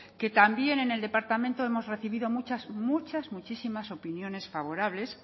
que también en el departamento hemos recibido muchísimas opiniones favorables